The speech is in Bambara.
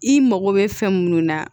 I mago bɛ fɛn munnu na